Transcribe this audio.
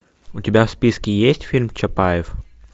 у тебя в списке есть фильм чапаев